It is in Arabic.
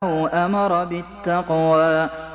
أَوْ أَمَرَ بِالتَّقْوَىٰ